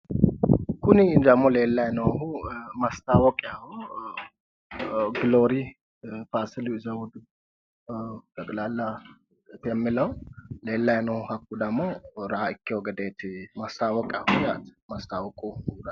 Kuni dammo leellayi noohu mastaawoqiyaaho giloori faasili zewudu xeqilaalla yemilewu leellayi no hakku demo raa ikkewo gedeeti maastawoqaho yaate.